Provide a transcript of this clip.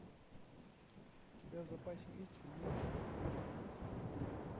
у тебя в запасе есть фильмец под куполом